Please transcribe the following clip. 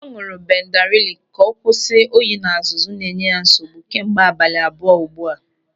Ọ ñụ̀rụ̀ bendarilu ka ọ kwụsị oyi na azụzụ na enye ya nsogbu kemgbe abalị abụọ ugbu a.